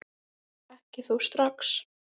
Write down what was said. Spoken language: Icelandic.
Ekki þó strax.